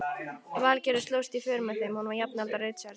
Valgerður slóst í för með þeim, hún var jafnaldra Richards.